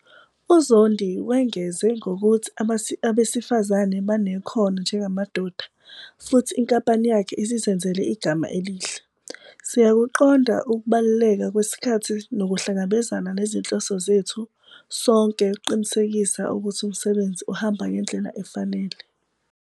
UZondi wengeze ngokuthi abesifazane banekhono njengamadoda futhi inkampani yakhe isizenzele igama elihle. "Siyakuqonda ukubaluleka kwesikhathi nokuhlangabezana nezinhloso zethu sonke ukuqinisekisa ukuthi umsebenzi uhamba ngendlela efanele."